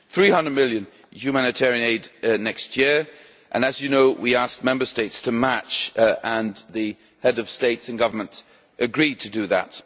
EUR 300 million in humanitarian aid next year and, as you know, we asked Member States to match this and the Heads of State or Government agreed to do that.